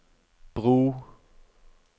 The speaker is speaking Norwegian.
bro